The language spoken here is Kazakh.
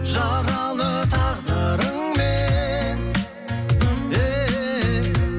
жаралы тағдырыңмен